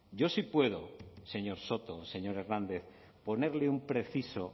yo sí puedo señor soto señor hernandez ponerle un preciso